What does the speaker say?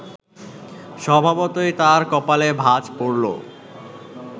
স্বভাবতই তাঁর কপালে ভাঁজ পড়ল